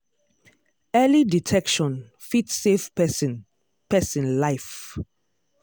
early detection fit save person person life.